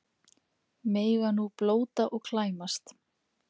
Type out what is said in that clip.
Mega nú blóta og klæmast